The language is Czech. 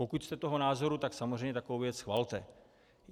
Pokud jste toho názoru, tak samozřejmě takovou věc schvalte.